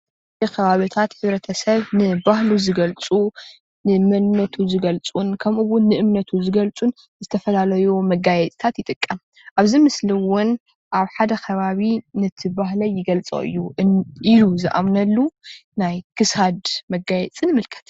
ኸባብታት ሕብረተሰብ ንባህሉ ዝገልፁ፤ ንመንነቱ ዝገልፁን ኸምኢውን ንእምነቱ ዝገልፁ ዝተፈላለዩ መጋየፅታት ይጥቀም። ኣብዚ ምስሊ እውን ኣብ ሓደ ኸባቢ ነቲ ባህለይ ይገልፆ እዩ ኢሉ ዝኣምነሉ ናይ ኽሳድ መጋየፂ ንምልከት።